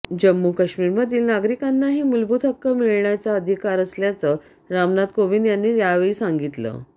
जम्मू काश्मीरमधील नागरिकांनाही मुलभूत हक्क मिळण्याचा अधिकार असल्याचं रामनाथ कोविंद यांनी यावेळी सांगितलं